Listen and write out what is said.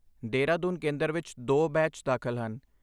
ਦੇ ਹਰਾਦੂਨ ਕੇਂਦਰ ਵਿੱਚ ਦੋ ਬੈਚ ਦਾਖਲ ਹਨ